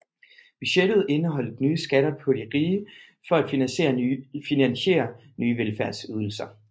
Budgettet indeholdt nye skatter på de rige for at finansiere nye velfærdsydelser